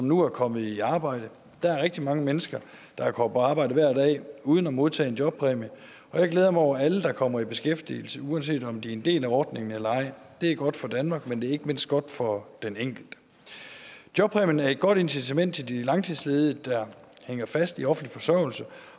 nu er kommet i arbejde der er rigtig mange mennesker der går på arbejde hver dag uden at modtage en jobpræmie og jeg glæder mig over alle der kommer i beskæftigelse uanset om de er en del af ordningen eller ej det er godt for danmark men det er ikke mindst godt for den enkelte jobpræmien er et godt incitament til de langtidsledige der hænger fast i offentlig forsørgelse